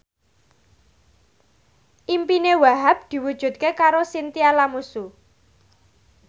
impine Wahhab diwujudke karo Chintya Lamusu